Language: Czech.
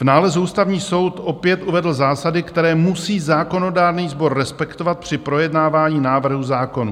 V nálezu Ústavní soud opět uvedl zásady, které musí zákonodárný sbor respektovat při projednávání návrhů zákonů.